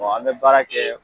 an bɛ baara kɛ